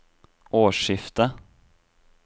årsskiftet